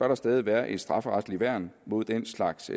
der stadig være et strafferetsligt værn mod den slags